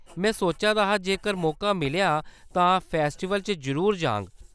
में सोचा दा हा जेकर मौका मिलेआ तां फेस्टिवल च जरूर जाङ।